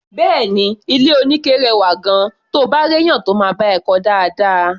Bẹ́ẹ̀ni, ilé-oníke rẹwà gan-an, to bá réèyàn tó máa bá ẹ kọ́ ọ dáadáa.